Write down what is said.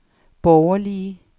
borgerlige